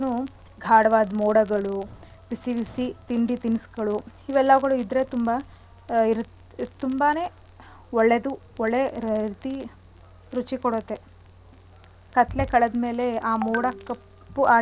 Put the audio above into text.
ಮೋಡಗಳು ಬಿಸಿ ಬಿಸಿ ತಿಂಡಿ ತಿನ್ಸ್ಗಳು ಇವೆಲ್ಲಗಳು ಇದ್ರೆ ತುಂಬಾ ಇರ್ ತುಂಬಾನೆ ಒಳ್ಳೇದು ಒಳ್ಳೆ ರೀತಿ ರುಚಿ ಕೊಡತ್ತೆ ಕತ್ಲೆ ಕಳ್ದ್ ಮೇಲೆ ಆ ಮೋಡ ಕಪ್ಪು ಆಗಿ ಮಳೆ.